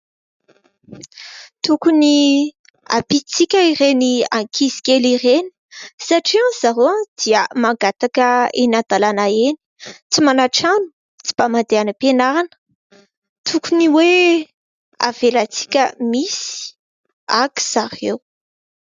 Tokony hampiantsika ireny ankizy kely ireny satria hono ry zareo dia mangataka eny an-dàlana eny tsy manatrano, tsy mba mandeha any am-pianarana. Tokony hoe avelantsika misy haka zareo.